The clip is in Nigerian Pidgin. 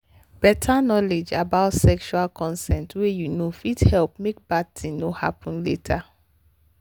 better knowledge about sexual consent way you know fit help make bad thing no happen later.